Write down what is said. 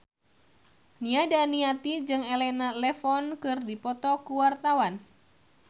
Nia Daniati jeung Elena Levon keur dipoto ku wartawan